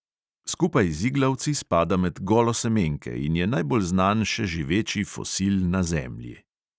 Skupaj z iglavci spada med golosemenke in je najbolj znan še živeči fosil na zemlji.